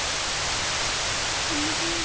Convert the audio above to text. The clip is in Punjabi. ਕਿੰਨੀ ਕੀ